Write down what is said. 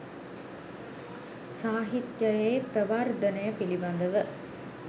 සාහිත්‍යයේ ප්‍රවර්ධනය පිළිබඳව